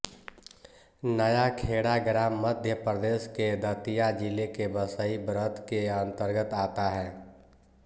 नयाखेड़ा ग्राम मध्य प्रदेश के दतिया जिले के बसई ब्रत्त के अन्तर्गत आता हैं